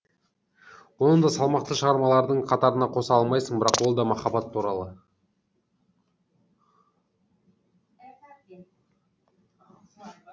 оны да салмақты шығармалардың қатарына қоса алмайсың бірақ ол да махаббат туралы